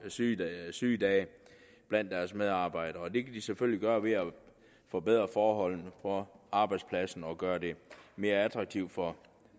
sygedage sygedage blandt deres medarbejdere det kan de selvfølgelig gøre ved at forbedre forholdene på arbejdspladsen og gøre det mere attraktivt for